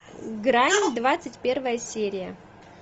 грань двадцать первая серия